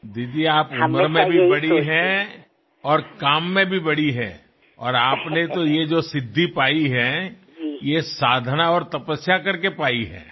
દીદી તમે ઉંમરમાં તો બહુ મોટા છો અને કામમાં પણ મોટા છો અને આપે જે આ સિદ્ધિ પ્રાપ્ત કરી છે તે સાધના અને તપશ્ચર્યા કરીને મેળવી છે